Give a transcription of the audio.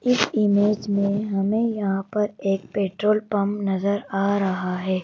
इस इमेज में हमें यहां पर एक पेट्रोल पंप नजर आ रहा है।